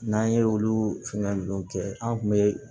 N'an ye olu fɛngɛ ninnu kɛ an kun bɛ